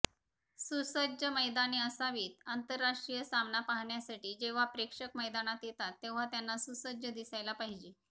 सुसज्ज मैदाने असावीत आंतरराष्ट्रीय सामना पाहण्यासाठी जेव्हा प्रेक्षक मैदानात येतात तेव्हा त्यांना सुसज्ज दिसायला पाहिजे